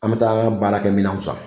An bɛ taa an ka baara kɛ minɛnw san.